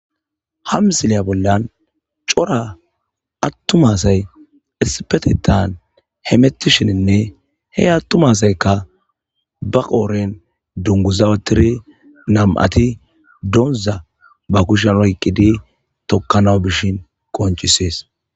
ha msileya bollan cora attuma asay isipetetan hemettishininne he attuma asaykka ba qooren dunguzawatiri nam7ati doonza ba kushan rayqqidi tokkanawu bishin qonchisees